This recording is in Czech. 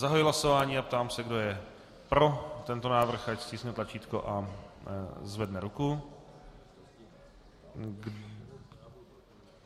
Zahajuji hlasování a ptám se, kdo je pro tento návrh, ať stiskne tlačítko a zvedne ruku.